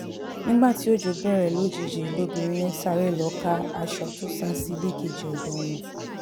nígbà tí ọjọ́ bẹ̀rẹ̀ lójijì lobìnrin yẹn sáré lọ́ọ́ ká aṣọ tó sá sí ilé kejì odò wọn